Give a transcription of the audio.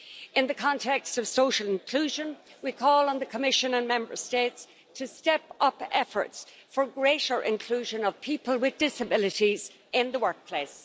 In the context of social inclusion, we call on the Commission and Member States to step up efforts for greater inclusion of people with disabilities in the workplace.